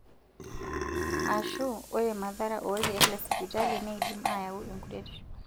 Aashu, ore mathara olkeek lesipitali neidim aayau enkuretisho.